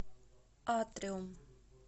атриум